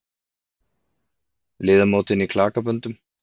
Liðamótin í klakaböndum.